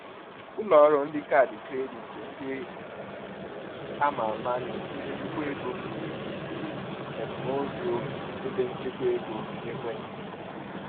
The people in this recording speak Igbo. Ụlọọrụ kaadị kredit ndị a ma ama na-etinye nnukwu ego n’ịzụlite teknụzụ ebenchekwaego n’ekwentị.